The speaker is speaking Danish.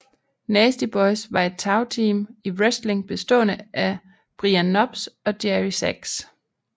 Nasty Boys var et tagteam i wrestling bestående af Brian Knobbs og Jerry Sags